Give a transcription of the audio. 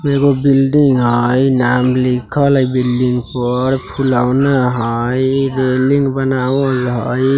एगो बिल्डिंग हई नाम लिखल हई बिल्डिंग पर फुलौना हई इ बिल्डिंग बनावल हई।